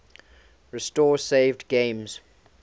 restore saved games